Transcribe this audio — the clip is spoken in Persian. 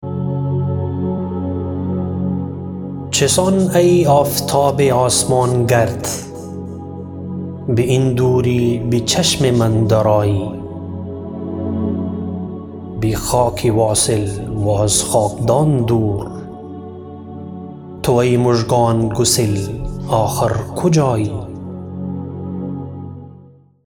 چسان ای آفتاب آسمان گرد باین دوری به چشم من در آیی بخاکی واصل و از خاکدان دور تو ای مژگان گسل آخر کجایی